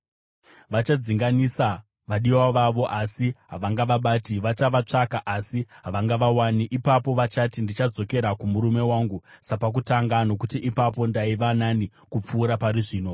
Vachadzinganisa vadiwa vavo asi havangavabati; vachavatsvaka, asi havangavawani. Ipapo vachati, ‘Ndichadzokera kumurume wangu sapakutanga nokuti ipapo ndaiva nani kupfuura pari zvino.’